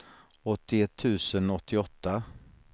åttioett tusen åttioåtta